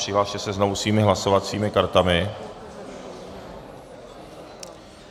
Přihlaste se znovu svými hlasovacími kartami.